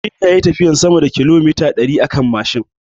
Aminu yayi tafiyan sama da kilomita ɗari akan Mashin